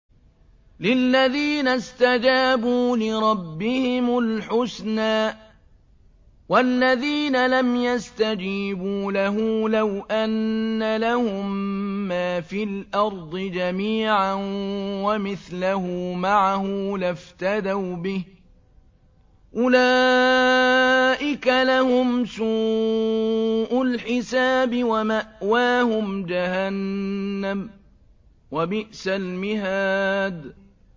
لِلَّذِينَ اسْتَجَابُوا لِرَبِّهِمُ الْحُسْنَىٰ ۚ وَالَّذِينَ لَمْ يَسْتَجِيبُوا لَهُ لَوْ أَنَّ لَهُم مَّا فِي الْأَرْضِ جَمِيعًا وَمِثْلَهُ مَعَهُ لَافْتَدَوْا بِهِ ۚ أُولَٰئِكَ لَهُمْ سُوءُ الْحِسَابِ وَمَأْوَاهُمْ جَهَنَّمُ ۖ وَبِئْسَ الْمِهَادُ